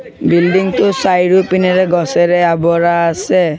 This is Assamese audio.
বিল্ডিঙ টোৰ চাৰিওপিনেৰে গছেৰে অৱৰা আছে।